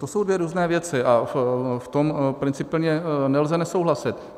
To jsou dvě různé věci a v tom principiálně nelze nesouhlasit.